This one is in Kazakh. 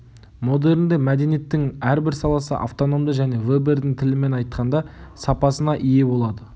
модернде мәдениеттің әрбір саласы автономды және вебердің тілімен айтқанда сапасына ие болады